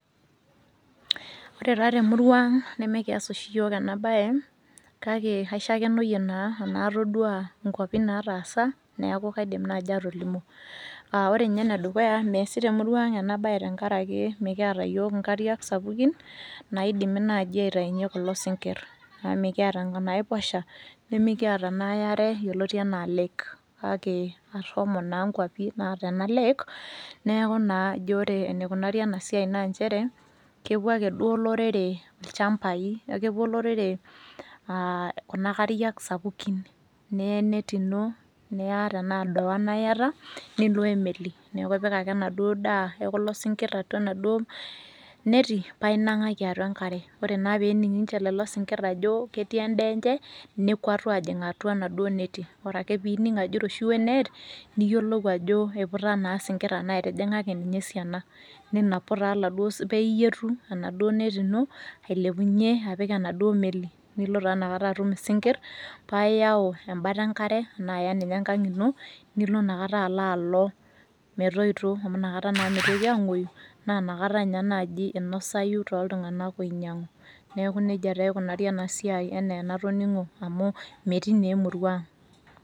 Ore taa temuruang' nemekias oshi yiook enabaye kake aishakenoyie naa anaa atoduaa inkuapi nataasa neaku kaidim naji atolimu. Uh ore ninye enedukuya measi temuruang' enabaye tengarake mikiata yiook nkariak sapukin naaidimi naji aitainye kulo sinkirr amu mekiata naaiposha nemekiata naa aiare yoloti anaa lake, kake ashomo naa nkuapi naata ena  lake neaku naa ijo ore eneikunari enasiai naa nchere kepuo ake duo olorere ilchambai, akepuo olorere aah kuna kariak sapukin niya enet ino niya tenaa doana iyata nilo oemeli. Neaku ipik ake enaduo daa ekulo sinkirr atua enaduo neti paainang'aki atua enkare ore naa peening' ninche lelo sinkirr ajo ketii endaaenche nekuatu ajing' atua naduo neti. Ore ake piining' ajo eiroshiwo enet niyiolou ajo eiputa naa sinkirr anaa etijing'a ake ninye esiana. Ninapu taa laduo, paaiyetu enaduo neti ino ailepunye apik enaduo meli nilo taanakata atum sinkirr paaiyau embata enkare anaaiya ninye enkang' ino nilonakata aloalok metoito amu nakata naa meitoki ang'uoyu naanakata ninye naji einosayu toltunganak oinyang'u. Neaku neja taa eikunari enasiai eneenatoning'o amu metii neemuruang'.